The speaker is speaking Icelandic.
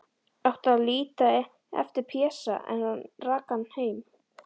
Átti að líta eftir Pésa, en rak hann heim.